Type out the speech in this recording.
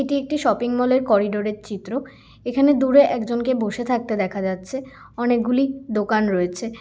এটি একটি shopping mall -এর করিডোর -এর চিত্র। এখানে দূরে একজকনকে বসে থাকতে দেখা যাচ্ছে অনেকগুলি দোকান রয়েছে ।